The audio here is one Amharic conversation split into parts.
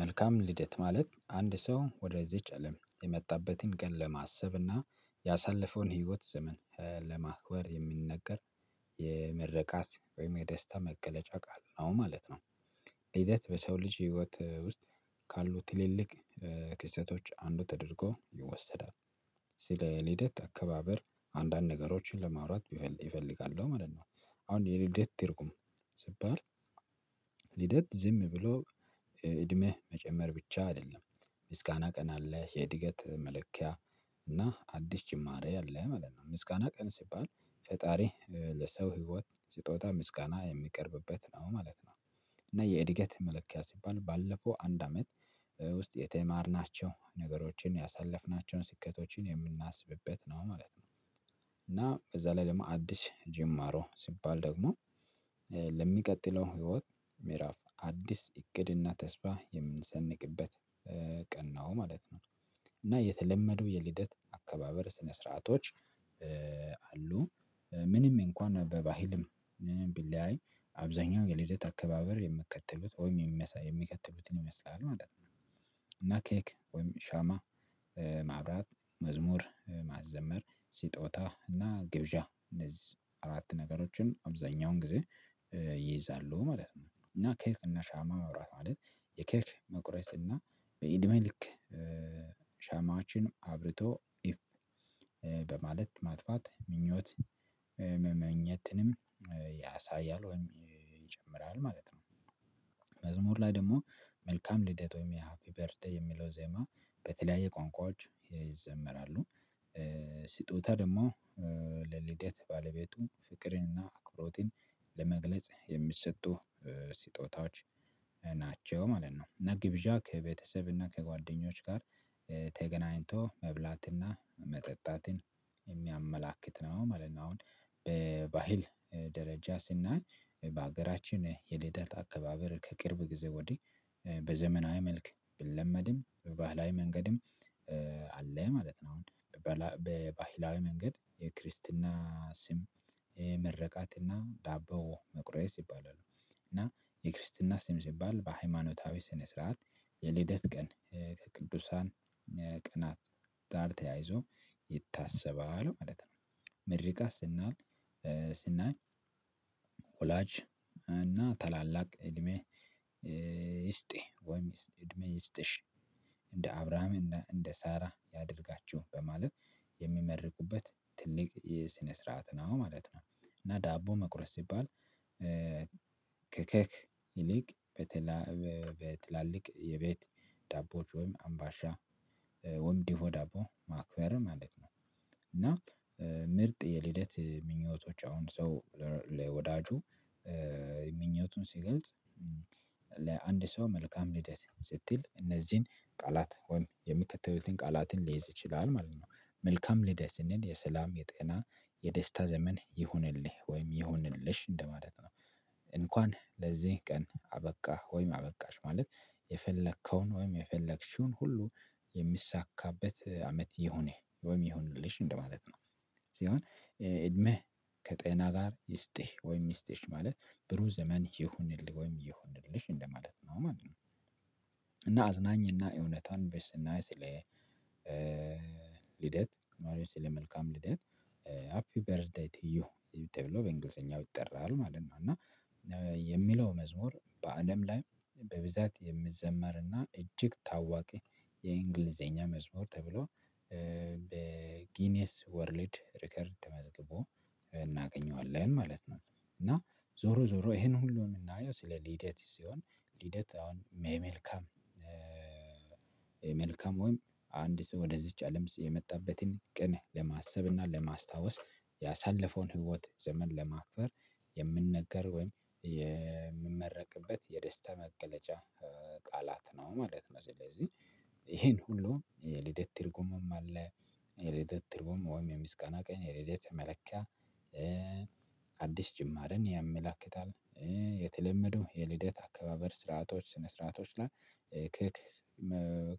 መልካም ልደት ማለት አንድ ሰው ወደዚች አለም የመጣበትን ቀን ለማሰብና ያሳለፈውን ህይወት ዘመን ለማክበር የምንነገር የመረቃት ወይም የደስታ መገለጫ ቃል ነው ማለት ነው ልደት በሰው ልጅ ህይወት ውስጥ ካሉት ትልልቅ ክስተቶች አንዱ ተደርጎ ይወሰዳል። ስለ ልደት አከባበር አንዳንድ ነገሮችን ለማውራት ይፈልጋሉ ማለት ነው። አሁን የልደት ትርጉም ስባል ልደት ዝም ብሎ እድሜህ መጨመር ብቻ አይደለም። ምስጋና ቀን አለህ የእድገት መለኪያ እና አዲስ ጭማሪ አለህ መለት ነው። ምስጋና ቀን ሲባል ፈጣሪ ለሰው ህይወት ስጦታ ምስጋና የሚቀርብበት ነው ማለት ነው። እና የእድገት መለኪያ ሲባል ባለፈው አንድ አመት ውስጥ የተማርናቸው ነገሮችን ያሳለፍናቸውን ስኬቶችን የምናስብበት ነው ማለት ነው። እና እዛ ላይ ደግሞ አዲስ ጅማሮ ሲባል ደግሞ ለሚቀጥለው ህይወት ምዕራፍ አዲስ እቅድና ተስፋ የምንሰንቅበት ቀን ነው። እና የተለመደው የልደት አከባበር ስነ ስርዓቶች አሉ። ምንም እንኳን በባህልም ቢለያይ አብዛኛው የልደት አከባበር የምከትሉት ወይም የሚከትሉትን ይመስላል ማለት ነው። እና ኬክ ወይም ሻማ መዝሙር ማዘመር ሲጦታ እና ግብዣ እነዚህ አራት ነገሮችን አብዛኛውን ጊዜ ይይዛሉ ማለት ነው። እና ኬክ እና ሻማ መውራት ማለት የኬክ መቁረጥ እና በኢድሜ ልክ ሻማችን አብርቶ ኢፍ በማለት ማጥፋት ምኞት መመኘትንም ያሳያል ወይም ይጀምራል ማለት ነው። መዝሙር ላይ ደግሞ መልካም ልደት ወይም ያ ሃፒ በርዚ ዴይ ሚለው ዜማ በተለያየ ቋንቋዎች ይዘመራሉ። ስጦታ ደግሞ ለልደት ባለቤቱ ፍቅርንና አክብሮትን ለመግለጽ የሚሰጡ ስጦታዎች ናቸው ማለት ነው። እና ግብዣ ከቤተሰብ እና ከጓደኞች ጋር ተገናኝቶ መብላትና መጠጣትን የሚያመላክት ነው ማለት ነው። አሁን በባህል ደረጃ ስናይ በሀገራችን የልደት አከባበር ከቅርብ ጊዜ ወዲህ በዘመናዊ መልክ ብለመድም ባህላዊ መንገድም አለ። ማለት ነው። አሁን በባህላዊ መንገድ የክርስትና ስም ሚርቃትና ዳቦ መቁረየስ ይባላል። እና የክርስትና ስም ሲባል በሃይማኖታዊ ስነ ስርዓት የልደት ቀን ከቅዱሳን ቀናት ጋር ተያይዞ ይታሰባል ማለት ነው። ምርቃት ስናይ ስናይ ወላጅ እና ታላላቅ እድሜ ይስጥ ወይም እድሜ ይስጥሽ እንደ አብራም እንደ እንደ ሳራ ያደርጋችሁ በማለት የሚመርቁበት ትልቅ የስነ ስርዓት ነው ማለት ነው። እና ዳቦ መቁረስ ሲባል ከኬክ ይልቅ በተላ በትላልቅ የቤት ዳቦዎች ወይም አምባሻ ወምዲሆ ዳቦ ማክበር ማለት ነው። እና ምርጥ የልደት ምኞቶች አሁን ሰው ለወዳጁ ምኞቱን ሲገልጽ ለአንድ ሰው መልካም ልደት ስትል እነዚህን ቃላት ወይም የሚከተሉትን ቃላትን ሊይዝ ይችላል ማለት ነው። መልካም ልደት ስንል የሰላም፣ የጤና፣ የደስታ ዘመን ይሁንልህ ወይም ይሁንልሽ እንደማለት ነው። እንኳን ለዚህ ቀን አበቃ ወይም አበቃሽ ማለት የፈለከውን ወይም የፈለግሽውን ሁሉ የሚሳካበት አመት ይሆንህ ወይም ይሆንልሽ እንደማለት ነው። ሲሆን እድሜህ ከጤና ጋር ይስጥህ ወይም ይስጥሽ ማለት ብሩ ዘመን ይሁንልህ ወይም ይሁንልሽ እንደማለት ነው ማለት ነው። እና አዝናኝና እውነቷን በስና ስለ ልደት ማርዮች ለመልካም ልደት ሃፒ በርዝ ዴይ ቲዩ ተብሎ በእንግሊዘኛው ይጠራል ማለት ነው። እና የሚለው መዝሙር በአለም ላይ በብዛት የምዘመርና እጅግ ታዋቂ የእንግሊዘኛ መዝሙር ተብሎ በጊኒየስ ወርልድ ሪከርድ ተመዝግቦ እናገኘዋለን ማለት ነው። እና ዞሮ ዞሮ ይሄን ሁሉ የምናየው ስለ ሊደት ሲሆን ልደት አሁን መልካም መልካም ወይም አንድ ሰው ወደዚች አለም የመጣበትን ቅን ለማሰብና ለማስታወስ ያሳለፈውን ህይወት ዘመን ለማክበር የምነገር ወይም የምንመረቅበት የደስታ መገለጫ ቃላት ነው ማለት ነው። ስለዚህ ይሄን ሁሉ የልደት ትርጉምም አለ የልደት ትርጉም ወይም የምስጋና ቀን የልደት መለኪያ አዲስ ጅማርን ያመላክታል የተለመደው የልደት አከባበር ስርዓቶች ስነ ስርዓቶች ላይ ከክ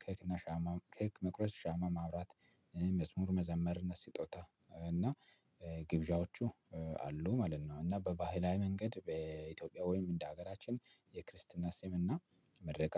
ከክ እና ሻማ ከክ መቁረጥ ሻማ ማብራት መዝሙር መዘመር እና ስጦታ እና ግብዣዎቹ አሉ ማለት ነው። እና በባህላዊ መንገድ በኢትዮጵያ ወይም እንደ ሀገራችን የክርስትና ስም እና የምርቃት